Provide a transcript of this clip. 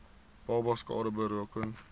babas skade berokken